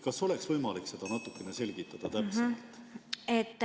Kas oleks võimalik seda natukene täpsemalt selgitada?